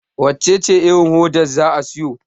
wacece irin hoda za a siyo?